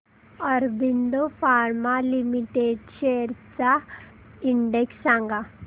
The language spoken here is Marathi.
ऑरबिंदो फार्मा लिमिटेड शेअर्स चा इंडेक्स सांगा